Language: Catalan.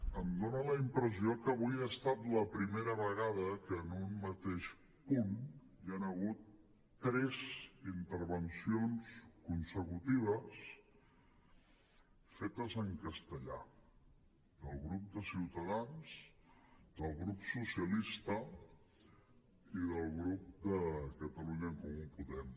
em dona la impressió que avui ha estat la primera vegada que en un mateix punt hi han hagut tres intervencions consecutives fetes en castellà del grup de ciutadans del grup socialista i del grup de catalunya en comú podem